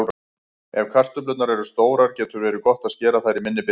Ef kartöflurnar eru stórar getur verið gott að skera þær í minni bita.